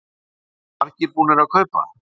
Og eru margir búnir að kaupa?